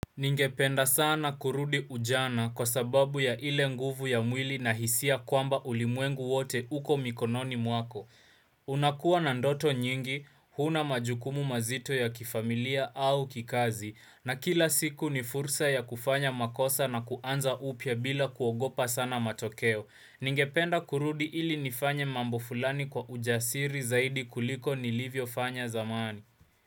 Ningependa sana kurudi ujana kwa sababu ya ile nguvu ya mwili na hisia kwamba ulimwengu wote uko mikononi mwako. Unakuwa na ndoto nyingi, huna majukumu mazito ya kifamilia au kikazi, na kila siku ni fursa ya kufanya makosa na kuanza upya bila kuogopa sana matokeo. Ningependa kurudi ili nifanye mambo fulani kwa ujasiri zaidi kuliko nilivyo fanya zamani.